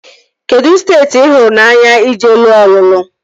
Kedụ steeti ị hụrụ n'anya ije lụọ ọlụlụ?